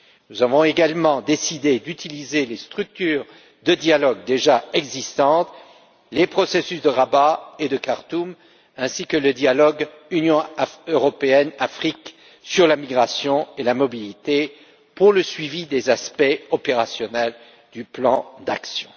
Nous avons également décidé d'utiliser les structures de dialogue déjà existantes, les processus de Rabat et de Khartoum, ainsi que le dialogue Union européenne Afrique sur la migration et la mobilité pour le suivi des aspects opérationnels du plan d'action.